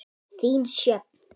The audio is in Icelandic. Þín, Sjöfn.